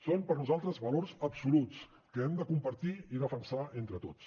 són per nosaltres valors absoluts que hem de compartir i defensar entre tots